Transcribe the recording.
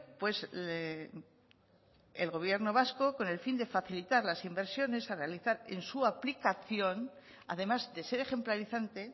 pues el gobierno vasco con el fin de facilitar las inversiones a realizar en su aplicación además de ser ejemplarizante